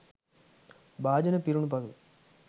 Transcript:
භාජන පිරුණු පසු